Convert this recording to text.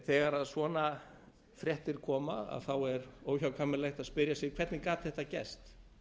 þegar svona fréttir koma er óhjákvæmilegt að spyrja sig hvernig gat þetta gerst